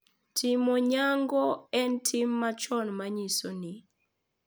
Timo nyango en tim machon ma nyiso ni .